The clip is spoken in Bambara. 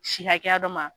Si hakɛya dɔ ma